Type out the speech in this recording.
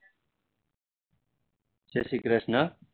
Jay Shri Krishna